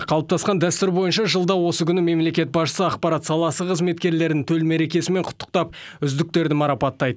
қалыптасқан дәстүр бойынша жылда осы күні мемлекет басшысы ақпарат саласы қызметкерлерін төл мерекесімен құттықтап үздіктерді марапаттайды